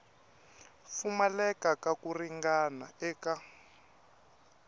pfumaleka ka ku ringana eka